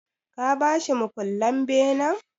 Ka ba shi mukullen benen?